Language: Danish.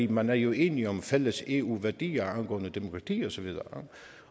man er jo enige om fælles eu værdier angående demokrati osv